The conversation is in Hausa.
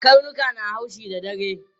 Karnuka suna haushi da dare.